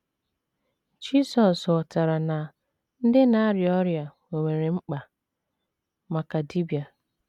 Jizọs ghọtara na ‘ ndị na - arịa ọrịa nwere mkpa maka dibịa. ’